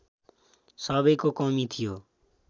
सबैको कमी थियो